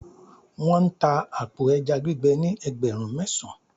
wan ta apo eja gbigbe ni ẹgbẹrun mesan